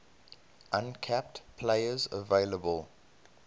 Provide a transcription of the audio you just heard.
uncapped players available